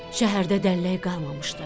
Şəhərdə dəllək qalmamışdı.